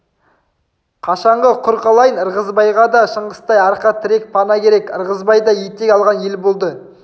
қашанғы құр қалайын ырғызбайға да шыңғыстай арқа тірек пана керек ырғызбай да етек алған ел болды